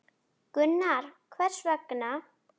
Gunnar: Hvers vegna?